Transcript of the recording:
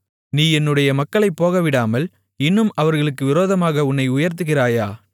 நீ என்னுடைய மக்களைப் போகவிடாமல் இன்னும் அவர்களுக்கு விரோதமாக உன்னை உயர்த்துகிறாயா